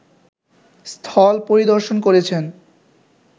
স্থল পরিদর্শন করেছেন